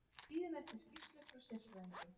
Við bíðum eftir skýrslu frá sérfræðingnum.